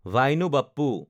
ভাইনো Bappu